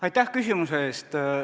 Aitäh küsimuse eest!